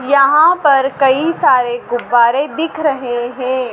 यहां पर कई सारे गुब्बारे दिख रहे हैं।